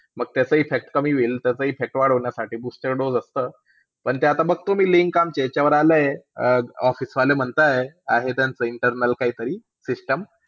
मग त्याचा effect कमी होईल त्याचा effect वाढवण्यासाठी booster dose असता पण तेआता बघतो मी link आमच्या याच्यावर आलाय आहे office वाले म्हणत आहे आहे त्यांचा internal काही तरी system